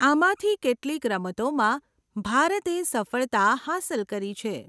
આમાંથી કેટલીક રમતોમાં ભારતે સફળતા હાંસલ કરી છે.